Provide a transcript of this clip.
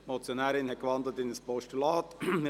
Die Motionärin hat in ein Postulat gewandelt.